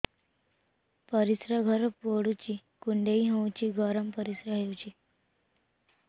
ପରିସ୍ରା ଘର ପୁଡୁଚି କୁଣ୍ଡେଇ ହଉଚି ଗରମ ପରିସ୍ରା ହଉଚି